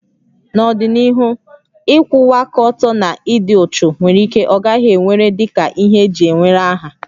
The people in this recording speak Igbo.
N'ọdịnihu, ịkwụwa aka ọtọ na ịdị uchu nwere ike ọ gaghị ewere dị ka ihe eji ewere aha